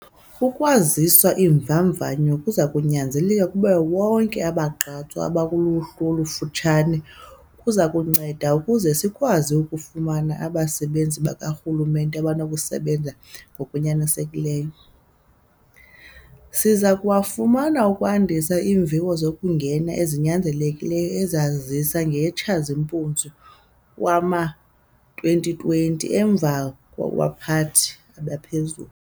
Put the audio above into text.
Ukwazisa iimvavanyo zokunyaniseka kubo bonke abagqatswa abakuluhlu olufutshane kuza kunceda ukuze sikwazi ukufumana abasebenzi bakarhulumente abanokusebenza ngokunyanisekileyo. Siza kuwafuna ukwandisa iimviwo zokungena ezinyanzelekileyo esazazisa ngeyeTshazimpunzi wama-2020 emva kwabaphathi abaphezulu.